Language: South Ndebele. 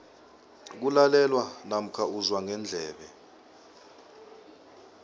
kulalelwa namkha uzwa ngendlebe